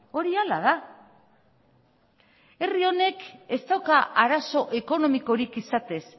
hori hala da herri honek ez dauka arazo ekonomikorik izatez